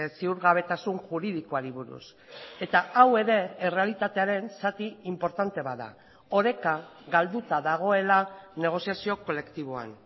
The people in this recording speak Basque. ziurgabetasun juridikoari buruz eta hau ere errealitatearen zati inportante bat da oreka galduta dagoela negoziazio kolektiboan